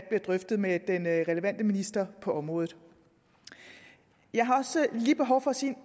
bliver drøftet med den relevante minister på området jeg har også lige behov for at sige